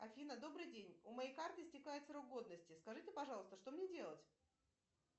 афина добрый день у моей карты истекает срок годности скажите пожалуйста что мне делать